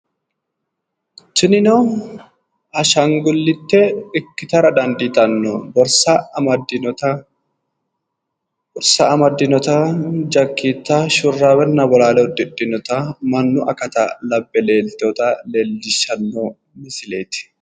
Tinino ashangulliite ikkitara daandiitanno borsa amaddinota jakkiitta shurraabenna bolaale uddidhinota mannu akata labbe leeltewoota leellishshanno misileeti.